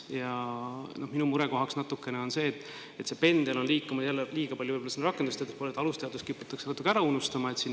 Ja minu mure on see, et pendel on liikunud jälle liiga palju rakendusteaduste poole, aga alusteadused kiputakse natuke ära unustama.